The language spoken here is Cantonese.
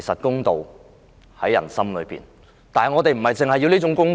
公道自在人心，但我們要的不只是公道。